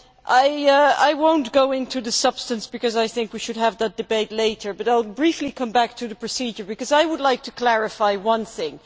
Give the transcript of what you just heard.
I will not go into the substance, because I think we should have that debate later, but I will briefly come back to the procedure, because I would like to clarify one thing.